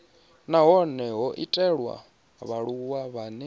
hone ho itelwa vhaaluwa vhane